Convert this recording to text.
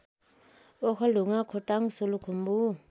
Okhaldhunga Khotang Solukhumbu